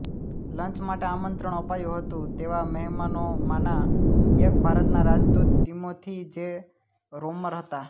lunch માટે આમંત્રણ અપાયું હતું તેવા મહેમાનોમાંના એક ભારતના રાજદૂત ટીમોથી જે રોમર હતા